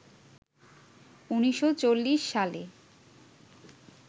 ১৯৪০ সালে